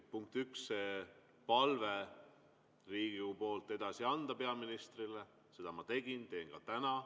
Punkt üks, anda Riigikogu palve edasi peaministrile – seda ma tegin, teen ka täna.